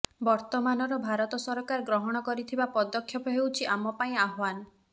ବର୍ତ୍ତମାନର ଭାରତ ସରକାର ଗ୍ରହଣ କରିଥିବା ପଦକ୍ଷେପ ହେଉଛି ଆମ ପାଇଁ ଆହ୍ବାନ